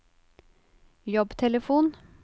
jobbtelefon